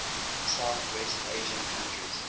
southwest asian countries